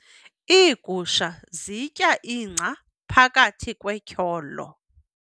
Iigusha zitya ingca phakathi kwetyholo.